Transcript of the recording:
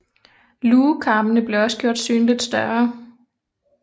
Lugekarmene blev også gjort synligt større